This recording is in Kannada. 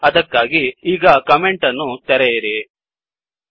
ಅದಕ್ಕಾಗಿ ಈಗ ಕಮೆಂಟ್ ಗಳನ್ನು ತೆಗೆಯಿರಿ